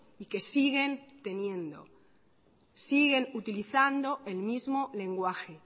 y que siguen teniendo siguen utilizando el mismo lenguaje